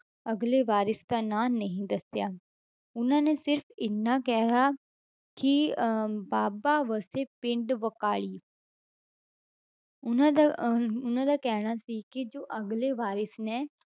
ਅਗਲੇ ਵਾਰਿਸ਼ ਦਾ ਨਾਂ ਨਹੀਂ ਦੱਸਿਆ, ਉਹਨਾਂ ਨੇ ਸਿਰਫ਼ ਇੰਨਾ ਕਿਹਾ ਕਿ ਅਹ ਬਾਬਾ ਵਸੇ ਪਿੰਡ ਬਕਾਲੇ ਉਹਨਾਂ ਦਾ ਅਹ ਉਹਨਾਂ ਦਾ ਕਹਿਣਾ ਸੀ ਕਿ ਜੋ ਅਗਲੇ ਵਾਰਿਸ਼ ਨੇ